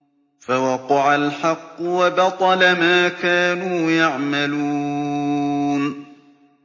فَوَقَعَ الْحَقُّ وَبَطَلَ مَا كَانُوا يَعْمَلُونَ